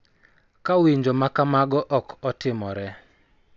Ka winjo ma kamago ok otimore,